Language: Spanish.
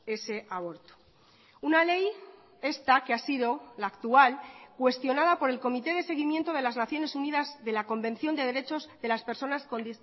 ese aborto una ley esta que ha sido la actual cuestionada por el comité de seguimiento de las naciones unidas de la convención de derechos de las personas con